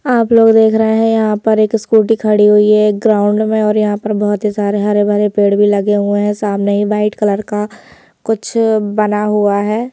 आप लोग देख रहे हैं यहां पर एक स्कूटी खड़ी हुई है एक ग्राउंड में और यहां पे बहुत हरे भरे पेड़ भी लगे हुए हैं सामने ही वाइट कलर का कुछ बना हुआ है।